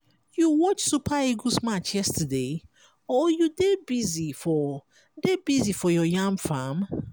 you watch super eagles match yesterday or you dey busy for dey busy for your yam farm?